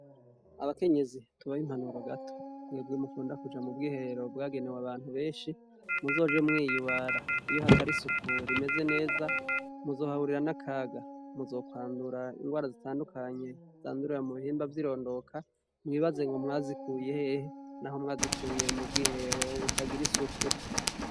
Abakenyezi, tubahe impanuro gato mwebwe mukunda kuja mu bwiherero bwagenewe abantu benshi muzoje mwiyubara. Iyo hatari isuku rimeze neza, muzohahurira n'akaga, muzokwandura ingwara zitandukanye zandurira mu bihimba vy'irondoka mwibaze ngo mwazikuye hehe, naho mwazikuye mu bwiherero butagira isuku.